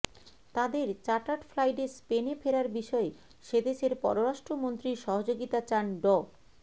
তাদের চাটার্ড ফ্লাইটে স্পেনে ফেরার বিষয়ে সেদেশের পররাষ্ট্রমন্ত্রীর সহযোগিতা চান ড